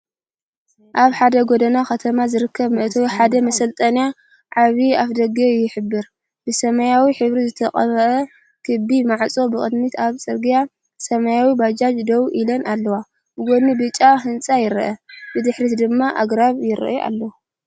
ኣብ ሓደ ጎደና ከተማ ዝርከብ መእተዊ ሓደ መሳለጥያ ዓቢ ኣፍደገ ይሕብር፤ ብሰማያዊ ሕብሪ ዝተቐብአ ክቢ ማዕጾ። ብቕድሚት ኣብ ጽርግያ ሰማያውን ባጃጅ ደው ኢለን ኣለዋ፤ ብጎኒ ብጫ ህንጻ ይረአ፡ ብድሕሪት ድማ ኣግራብ ይረአ ኣሎ።